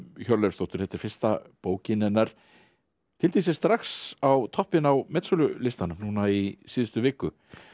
Hjörleifsdóttur þetta er fyrsta bókin hennar tyllti sér strax á toppinn á metsölulistanum núna í síðustu viku